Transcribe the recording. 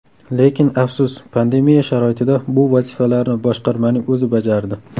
Lekin afsus, pandemiya sharoitida bu vazifalarni boshqarmaning o‘zi bajardi.